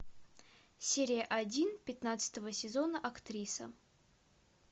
серия один пятнадцатого сезона актриса